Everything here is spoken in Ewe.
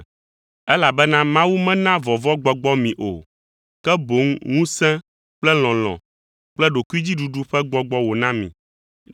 elabena Mawu mena vɔvɔ̃gbɔgbɔ mi o, ke boŋ ŋusẽ kple lɔlɔ̃ kple ɖokuidziɖuɖu ƒe gbɔgbɔ wòna mi.